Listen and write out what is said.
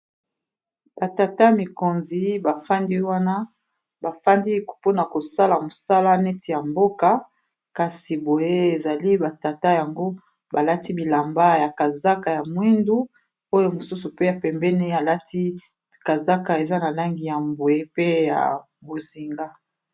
batata mikonzi bafandi wana bafandi mpona kosala mosala neti ya mboka kasi boye ezali batata yango balati bilamba ya kazaka ya mwindu oyo mosusu pe ya pembene alati kazaka eza na langi ya mbwe pe ya bozinga